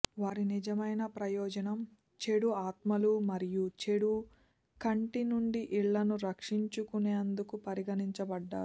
వారి నిజమైన ప్రయోజనం చెడు ఆత్మలు మరియు చెడు కంటి నుండి ఇళ్లను రక్షించుకునేందుకు పరిగణింపబడ్డారు